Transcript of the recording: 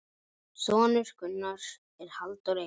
Sonur Gunnars er Halldór Einar.